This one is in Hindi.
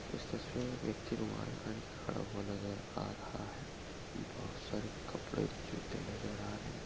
इस तस्वीर में व्यक्ति रुमाल बांधकर खड़ा हुआ नजर आ रहा हैं बहोत सारे कपडे जुते नजर आ रहे हैं।